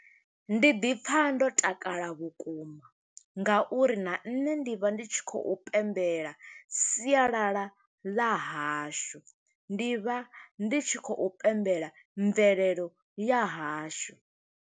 Ndi ḓi pfa ndo takala vhukuma, nga uri na nṋe ndi vha ndi tshi khou pembela sialala ḽa hashu. Ndi vha ndi tshi khou pembela mvelelo ya hashu.